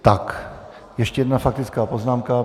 Tak ještě jedna faktická poznámka.